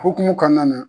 Hokumu kɔnɔna na